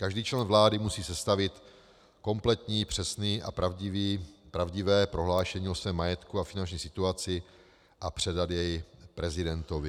Každý člen vlády musí sestavit kompletní, přesné a pravdivé prohlášení o svém majetku a finanční situaci a předat je prezidentovi.